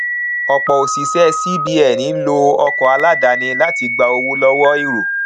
ọpọ òṣìṣẹ cbn ń lo ọkọ àdáni láti gba owó lọwọ èrò